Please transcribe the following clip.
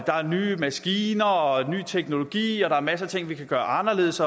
er nye maskiner og ny teknologi og der er masser af ting vi kan gøre anderledes